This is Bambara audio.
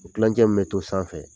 U tilancɛ min to sanfɛ